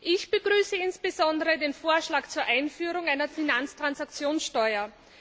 Ich begrüße insbesondere den Vorschlag zur Einführung einer Finanztransaktionssteuer.